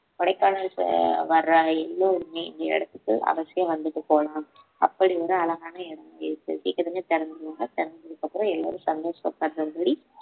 கொடைக்கானல் வர்ற எல்லோருமே இந்த இடத்துக்கு அவசியம் வந்துட்டு போகலாம் அப்படி ஒரு அழகான இடம் மாறியிருக்கு சீக்கிரமே திறந்துருவாங்க திறந்ததுக்கு அப்புறம் எல்லாரும் சந்தோஷப்படுற மாதிரி